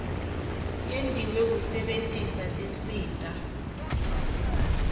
yentiwe kusebentisa tinsita